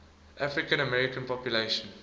african american population